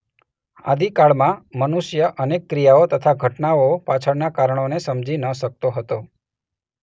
આદિકાળમાં મનુષ્ય અનેક ક્રિયાઓ તથા ઘટનાઓ પાછળનાં કારણોને સમજી ન શકતો હતો.